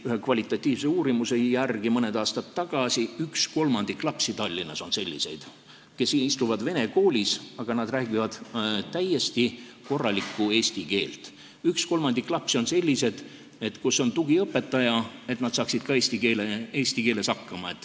Ühe kvalitatiivse uurimuse järgi, mis tehti mõni aasta tagasi, on üks kolmandik lapsi Tallinnas sellised, kes käivad vene koolis, aga räägivad täiesti korralikku eesti keelt, ning üks kolmandik lapsi on sellised, et on vaja tugiõpetajat, et nad saaksid eesti keeles hakkama.